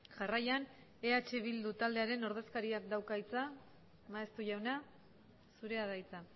jarraian eh bildu taldearen ordezkariak dauka hitza maeztu jauna zurea da hitza